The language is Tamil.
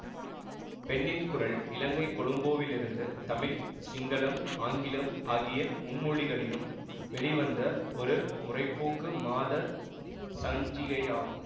பெண்ணின் குரல் இலங்கை கொழும்போவிலிருந்து தமிழ் சிங்களம் ஆங்கிலம் ஆகிய மும்மொழிகளிலும் வெளிவந்த ஒரு முற்போக்கு மாத சஞ்சிகையாகும்